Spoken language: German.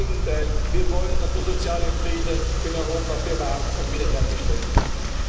Im Gegenteil, wir wollen, dass der soziale Frieden in Europa bewahrt und wieder hergestellt wird.